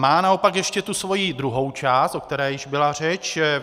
Má naopak ještě tu svoji druhou část, o které již byla řeč.